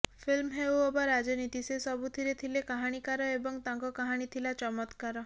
film ହେଉ ଅବା ରାଜନୀତି ସେ ସବୁଥିରେ ଥିଲେ କାହାଣୀକାର ଏବଂ ତାଙ୍କ କାହାଣୀ ଥିଲା ଚମତ୍କାର